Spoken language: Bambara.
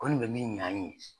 Ko nin bɛ min ɲ'an ye